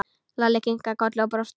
Lalli kinkaði kolli og brosti.